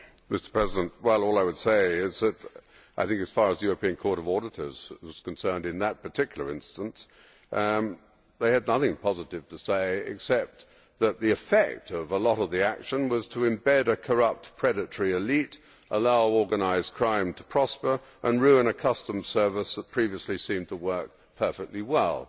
Mr President, all I would say is that I think, as far as the European Court of Auditors is concerned, in that particular instance they had nothing positive to say, and the effect of a lot of the action was to embed a corrupt, predatory elite, allow organised crime to prosper and ruin a customs service that previously seemed to work perfectly well.